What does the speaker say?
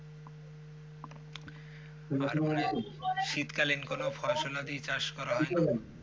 তারপরে শীতকালিন কোনো ফসল কি চাষ করা হয় নাকি?